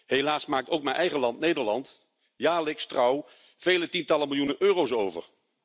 Helaas maakt ook mijn eigen land, Nederland, jaarlijks trouw vele tientallen miljoenen euro's over.